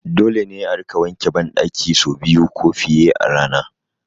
Dole ne a rika wanke ban ɗaki sau biyu ko fiye a rana